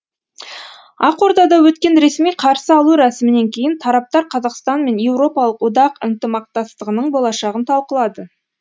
ақордада өткен ресми қарсы алу рәсімінен кейін тараптар қазақстан мен еуропалық одақ ынтымақтастығының болашағын талқылады